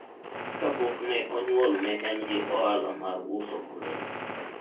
akpok ne onyoul ne en gi ohala mar uso olemo